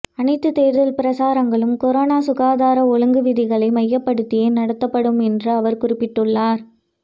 அனைத்து தேர்தல் பிரசாரங்களும் கொரோனா சுகாதார ஒழுங்கு விதிகளை மையப்படுத்தியே நடத்தப்படும் என்றும் அவர் குறிப்பிட்டுள்ளார்